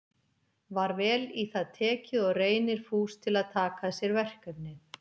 Var vel í það tekið og Reynir fús til að taka að sér verkefnið.